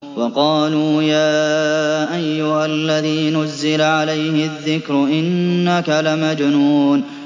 وَقَالُوا يَا أَيُّهَا الَّذِي نُزِّلَ عَلَيْهِ الذِّكْرُ إِنَّكَ لَمَجْنُونٌ